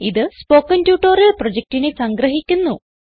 ഇതു spoken tutorial പ്രൊജക്റ്റിനെ സംഗ്രഹിക്കുന്നു